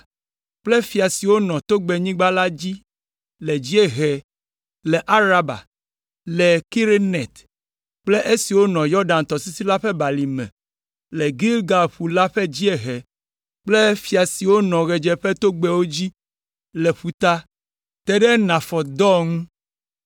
kple fia siwo nɔ tonyigba la dzi le dziehe le Araba, le Kineret kple esiwo nɔ Yɔdan tɔsisi la ƒe balime le Galilea ƒu la ƒe dziehe kple fia siwo nɔ ɣetoɖoƒetogbɛwo dzi le ƒuta, te ɖe Nafɔt Dor ŋu.